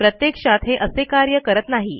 प्रत्यक्षात हे असे कार्य करत नाही